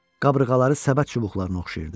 Qabırğaları səbət çubuqlarına oxşayırdı.